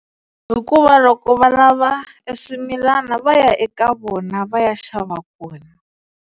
Hikuva loko va lava e swimilana va ya eka vona va ya xava kona.